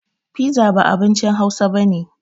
Fiza ba abincin hausa bane